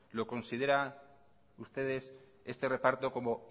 lo consideran ustedes este reparto como